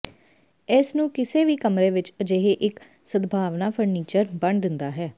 ਇਸ ਨੂੰ ਕਿਸੇ ਵੀ ਕਮਰੇ ਵਿੱਚ ਅਜਿਹੇ ਇੱਕ ਸਦਭਾਵਨਾ ਫਰਨੀਚਰ ਬਣਾ ਦਿੰਦਾ ਹੈ